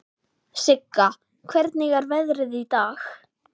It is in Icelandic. Sigga, hvernig er veðrið í dag?